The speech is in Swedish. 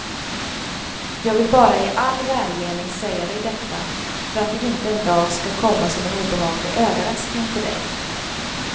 Jag vill bara i all välmening säga dig detta, för att det inte en dag ska komma som en obehaglig överraskning för dig.